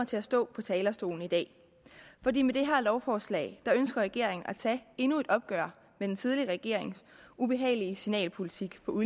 til at stå på talerstolen i dag fordi med det her lovforslag ønsker regeringen at tage endnu et opgør med den tidligere regerings ubehagelige signalpolitik på